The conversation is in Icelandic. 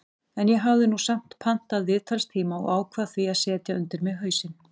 En ég hafði nú samt pantað viðtalstíma og ákvað því að setja undir mig hausinn.